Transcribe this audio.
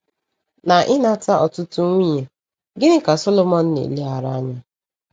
Na ịnata ọtụtụ nwunye, gịnị ka Sọlọmọn na-eleghara anya?